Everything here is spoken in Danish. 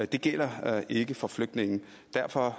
det gælder ikke for flygtninge derfor